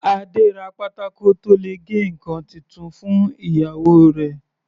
Adé ra pátákó tó le gé ǹkan titun fún ìyàwó rẹ̀.